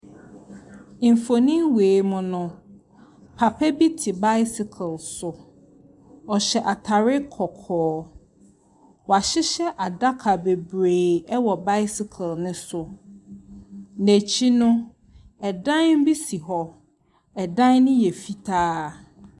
Nnipakuo ahyia wɔ baabi a ebinom kurakura bag. Ebinom nso bag bɔ wɔn akyi. Ɛhyɛn bi esisi hɔ. Ɔbaako hyɛ ahwehwɛniwa. Wɔn nyinaa yɛ Abrɔfo.